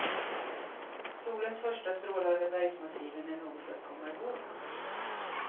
Solens första strålar över bergsmassiven är något att komma ihåg.